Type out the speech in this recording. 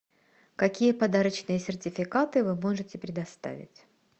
какие подарочные сертификаты вы можете предоставить